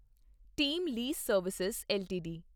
team lease service LTD